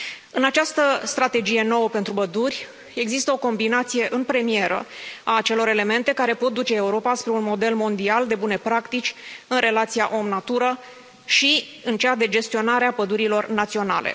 În această strategie nouă pentru păduri există o combinație în premieră a acelor elemente care pot duce Europa spre un model mondial de bune practici în relația om natură și în cea de gestionare a pădurilor naționale.